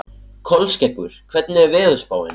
Kolskeggur, hvernig er veðurspáin?